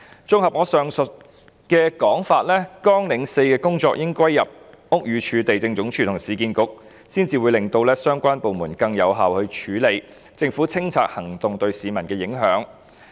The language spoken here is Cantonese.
綜合我前述的說法，綱領4應歸入屋宇署、地政總署和市建局，才可以令相關部門更有效地處理因政府清拆行動對市民造成影響的工作。